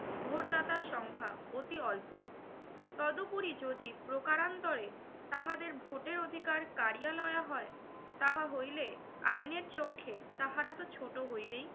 ভোটদাতার সংখ্যা অতি অল্প। তদুপরি যদি প্রকারান্তরে তাহাদের ভোটের অধিকার করিয়া লওয়া হয় তাহা হইলে আইনের চক্ষে তাহারাতো ছোট হইবেই